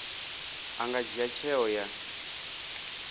a nga dzhia tsheo ya